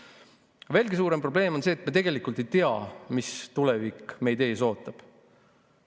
Veelgi suurem probleem on see, et me tegelikult ei tea, mis tulevik meid ees ootab.